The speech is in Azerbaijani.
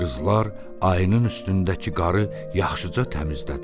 Qızlar ayının üstündəki qarı yaxşıca təmizlədilər.